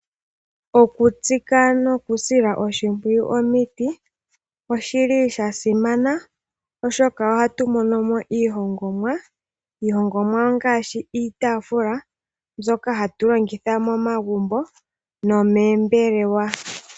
Okutsika noku sila oshimpwiyu omiti oshili sha simana oshoka ohatu monomo iihongomwa. Iihongomwa ngaashi iitaafula mbyoka hatu longitha momagumbo nomoombelewa.